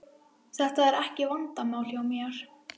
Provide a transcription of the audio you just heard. Þetta er ekki vandamál hjá mér.